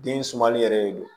Den sumali yɛrɛ de don